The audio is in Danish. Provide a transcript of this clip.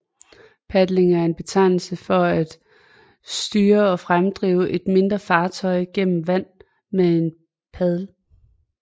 Padling er en betegnelse for at styre og fremdrive et mindre fartøj gennem vand med en paddel